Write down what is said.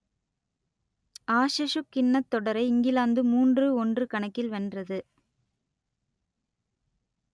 ஆஷசுக் கிண்ணத் தொடரை இங்கிலாந்து மூன்று ஒன்று கணக்கில் வென்றது